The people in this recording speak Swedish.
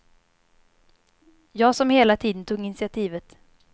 Jag som hela tiden tog initiativet.